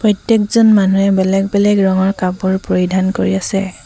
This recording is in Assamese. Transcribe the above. প্ৰত্যেকজন মানুহে বেলেগ বেলেগ ৰঙৰ কাপোৰ পৰিধান কৰি আছে।